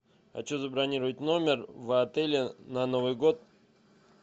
хочу забронировать номер в отеле на новый год